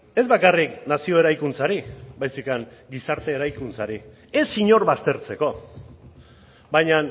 ez bakarrik nazio eraikuntzari baizik eta gizarte eraikuntzari ez inor baztertzeko baina